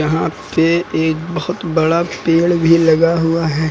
यहां पीछे एक बहोत बड़ा पेड़ भी लगा हुआ है।